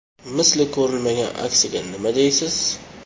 Misli ko‘rilmagan aksiyaga nima deysiz?⠀.